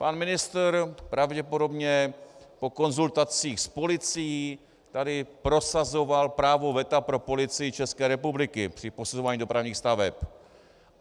Pan ministr, pravděpodobně po konzultacích s policií, tady prosazoval právo veta pro Policii České republiky při posuzování dopravních staveb.